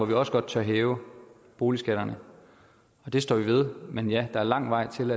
vi også godt tør hæve boligskatterne det står vi ved men ja der er lang vej til